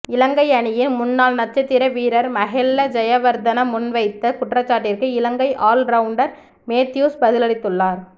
இலங்கை அணியின் முன்னாள் நட்சத்திர வீரர் மஹெல ஜெயவர்தன முன்வைத்த குற்றச்சாட்டிற்கு இலங்கை ஆல் ரவுண்டர் மேத்யூஸ் பதிலளித்துள்ளார்